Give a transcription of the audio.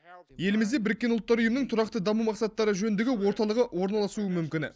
елімізде біріккен ұлттар ұйымының тұрақты даму мақсаттары жөніндегі орталығы орналасуы мүмкін